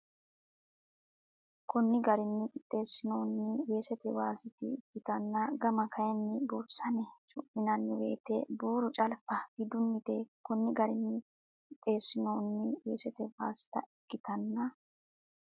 Konni garinni qixxeessinoonni weesete waasita ikkitanna gama kayinni buurisame cu mi nanni woyte buuru calfa gidunnite Konni garinni qixxeessinoonni weesete waasita ikkitanna.